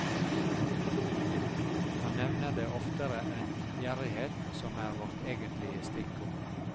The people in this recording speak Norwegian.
Han nevner det oftere enn gjerrighet, som er vårt egentlige stikkord.